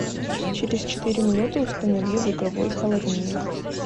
через четыре минуты установи в игровой холоднее